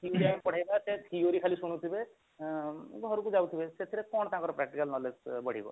ପଢେଇବା କଥା ସେ theory ଖାଲି ଶୁଣୁଥିବେ ଏଁ ଘରକୁ ଯାଉଥିବେ ସେଥିରେ କଣ ତାଙ୍କର practical knowledge ବଢିବ